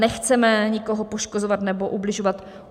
Nechceme nikoho poškozovat nebo ubližovat.